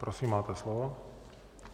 Prosím, máte slovo.